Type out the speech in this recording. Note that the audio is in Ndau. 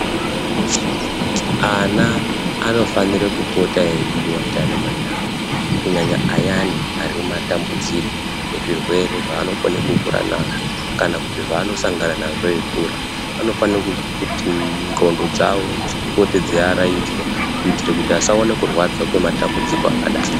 Ana anofanira kupota eidiwa ndiana mai awo kunyanya ayani arimumatambudziko ezvirwere zvaanokone kukura nazvo kana kuti zvaanosangana nazo eikura anofana kuti ndxondo dzawo dzipote dzeiaraidzwa kuita kuti asaona kurwadza kwematambudziko akadaro.